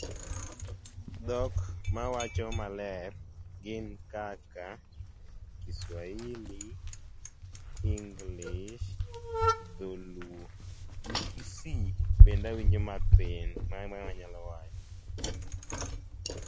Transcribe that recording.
Dhok ma awacho maler gin kaka Kiswahili, English, Dholuo gi Kisii bende awinjo mathin.